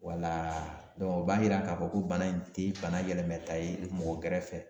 Wala o b'a yira k'a fɔ ko bana in tɛ bana yɛlɛmɛ ta ye mɔgɔ gɛrɛfɛ.